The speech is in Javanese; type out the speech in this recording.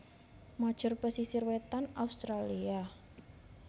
major pesisir wétan Australia